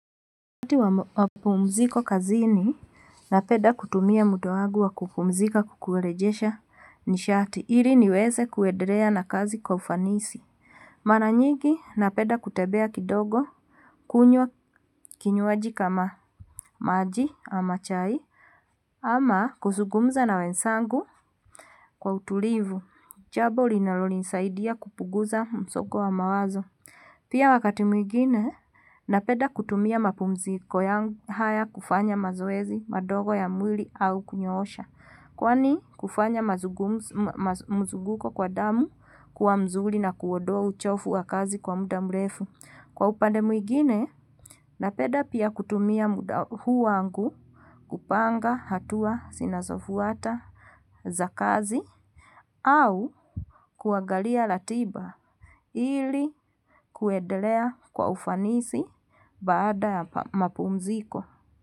Wakati wa pumziko kazini napenda kutumia muda wangu wa kupumzika kurejesha nishati ili niweze kuendelea na kazi kwa ufanisi. Mara nyingi napenda kutembea kidogo kunywa kinywaji kama maji ama chai ama kuzungumza na wenzangu kwa utulivu. Jambo linalonisaidia kupunguza msongo wa mawazo. Pia wakati mwingine, napenda kutumia mapumziko yangu haya kufanya mazoezi, madogo ya mwili au kunyoosha. Kwani kufanya mazungumzo mazunguko kwa damu, huwa mzuri na kuondoa uchovu wa kazi kwa muda mrefu. Kwa upande mwingine, napenda pia kutumia muda huu wangu kupanga hatua zinazofuata za kazi au kuangalia ratiba ili kuendelea kwa ufanisi baada ya mapumziko.